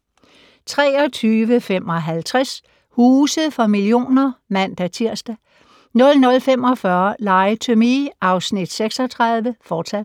23:55: Huse for millioner (man-tir) 00:45: Lie to Me (Afs. 36)*